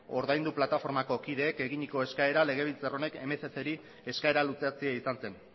ordaindu plataformako kideek egindako eskaera legebiltzar honek mccri eskera luzatzea izan zen